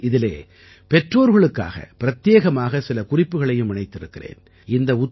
இப்பொழுது இதிலே பெற்றோர்களுக்காக பிரத்யேகமாக சில குறிப்புகளையும் இணைத்திருக்கிறேன்